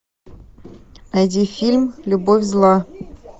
найди фильм любовь зла